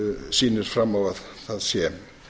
sýnir fram á að það sé